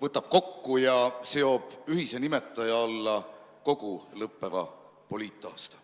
võtab kokku ja seob ühise nimetaja alla kogu lõppeva poliitaasta.